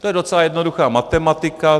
To je docela jednoduchá matematika.